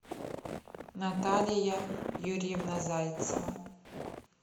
наталия юрьевна зайцева